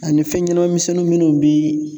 Ani fɛn ɲanama misɛnnin minnu bi